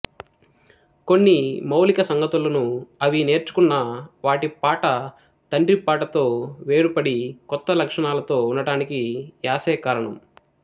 కొన్ని మౌలిక సంగతులను అవి నేర్చుకున్నా వాటి పాట తండ్రి పాటతో వేరుపడి కొత్త లక్షణాలతో ఉండడానికి యాసే కారణం